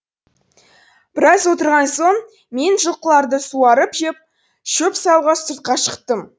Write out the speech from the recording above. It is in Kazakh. біраз отырған соң мен жылқыларды суарып шөп салуға сыртқа шықтым